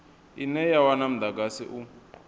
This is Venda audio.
ine ya wana mudagasi u